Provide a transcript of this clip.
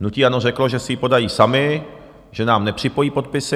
Hnutí ANO řeklo, že si ji podají sami, že nám nepřipojí podpisy.